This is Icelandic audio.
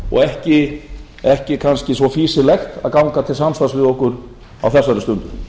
og ekki kannski svo fýsilegt að ganga til samstarfs við okkur á þessari stundu